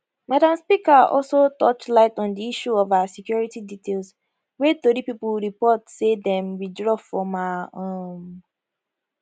madam speaker also torchlight on di issue of her security details wey tori pipo report say dem withdraw from her um